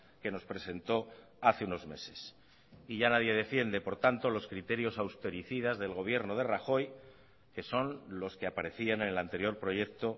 que nos presentó hace unos meses y ya nadie defiende por tanto los criterios austericidas del gobierno de rajoy que son los que aparecían en el anterior proyecto